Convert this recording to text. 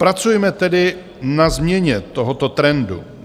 Pracujme tedy na změně tohoto trendu.